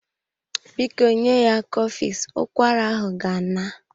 Biko nye ya cofex, ụkwara ahụ ga-ana.